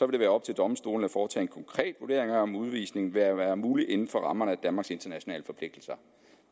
det være op til domstolene at foretage en konkret vurdering af om udvisning vil være mulig inden for rammerne af danmarks internationale forpligtelser